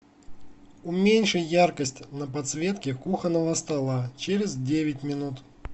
уменьши яркость на подсветке кухонного стола через девять минут